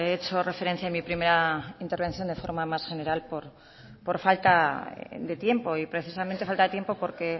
hecho referencia en mi primera intervención de forma más general por falta de tiempo y precisamente falta tiempo porque